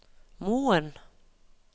Moen